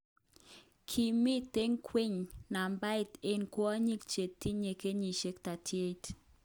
Kimiten ngweny nambait eng kwonyik chetinye kenyishek 38.